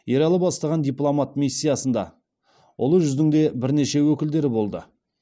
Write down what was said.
ералы бастаған дипломат миссияда ұлы жүздің де бірнеше өкілдері болды